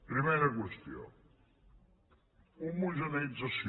primera qüestió homogeneïtzació